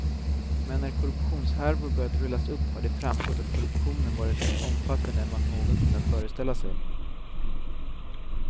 Men när korruptionshärvor börjat rullas upp har det framgått att korruptionen varit mer omfattande än vad någon kunnat föreställa sig.